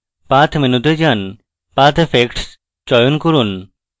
path মেনুতে যান path effects চয়ন করুন